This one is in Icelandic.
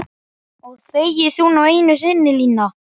Ræður ástand efnahagsmála einhverju um ákvörðun þína núna?